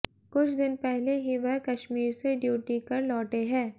कुछ दिन पहले ही वह कश्मीर से ड्यूटी कर लौटे है